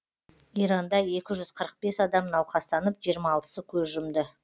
иранда екі жүз қырық бес адам науқастанып жиырма алтысы көз жұмды